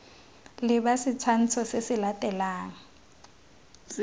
leba setshwantsho se se latelang